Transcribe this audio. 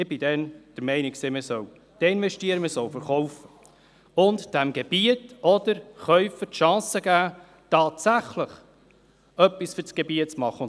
Ich war damals der Meinung, man solle desinvestieren, man solle verkaufen und dem Gebiet oder dem Käufer die Chance zu geben, tatsächlich etwas für das Gebiet zu tun.